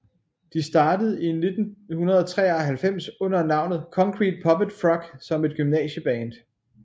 De startede i 1993 under navnet Concrete Puppet Frog som et gymnasieband